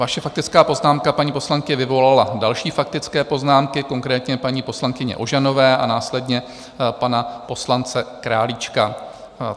Vaše faktická poznámka, paní poslankyně, vyvolala další faktické poznámky, konkrétně paní poslankyně Ožanové a následně pana poslance Králíčka.